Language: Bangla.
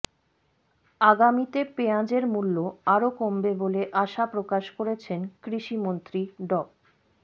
আগামীতে পেঁয়াজের মূল্য আরো কমবে বলে আশা প্রকাশ করেছেন কৃষিমন্ত্রী ড